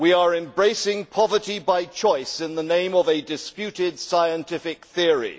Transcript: We are embracing poverty by choice in the name of a disputed scientific theory.